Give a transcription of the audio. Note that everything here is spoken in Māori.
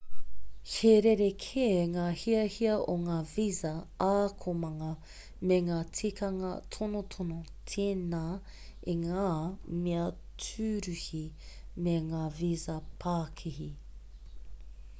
he rerekē ngā hiahia o ngā visa ākonga me ngā tikanga tonotono tēnā i ngā mea tūruhi me ngā visa pākihi